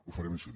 ho farem així